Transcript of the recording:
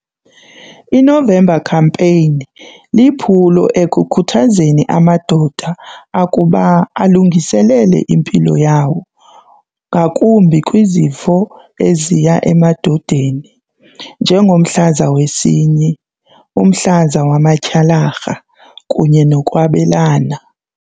INovember Campaign liphulo ekukhuthazeni amadoda akuba alungiselele impilo yawo ngakumbi kwizifo eziya emadodeni njengomhlaza wesinyi, umhlaza wamatyhalarha kunye nokwabelana.